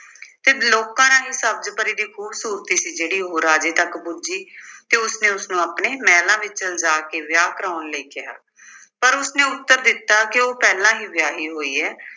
ਫਿਰ ਲੋਕਾਂ ਰਾਹੀਂ ਸਬਜ਼ ਪਰੀ ਦੀ ਖੂਬਸੂਰਤੀ ਸੀ ਜਿਹੜੀ ਉਹ ਰਾਜੇ ਤੱਕ ਪੁੱਜੀ ਤੇ ਉਸਨੇ ਉਸਨੂੰ ਆਪਣੇ ਮਹਿਲਾਂ ਵਿੱਚ ਲਿਜਾ ਕੇ ਵਿਆਹ ਕਰਾਉਣ ਲਈ ਕਿਹਾ। ਪਰ ਉਸਨੇ ਉੱਤਰ ਦਿੱਤਾ ਕਿ ਉਹ ਪਹਿਲਾਂ ਹੀ ਵਿਆਹੀ ਹੋਈ ਹੈ l